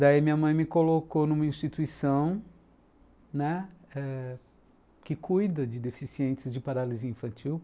Daí minha mãe me colocou numa instituição, né, que cuida de deficientes de paralisia infantil.